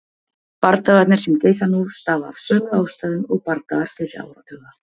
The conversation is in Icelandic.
Bardagarnir sem geisa nú stafa af sömu ástæðum og bardagar fyrri áratuga.